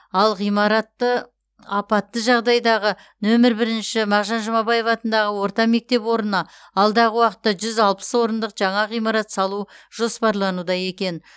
ал ғимараты апатты жағдайдағы нөмір бірінші мағжан жұмабаев атындағы орта мектеп орнына алдағы уақытта жүз алпыс орындық жаңа ғимарат салу жоспарлануда екен